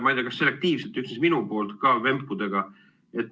Ma ei tea, kas selektiivselt nüüd siis, minu puhul ka vempudega.